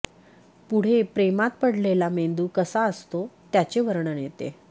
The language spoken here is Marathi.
पुढे प्रेमात पडलेला मेंदू कसा असतो त्याचे वर्णन येते